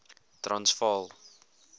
transvaal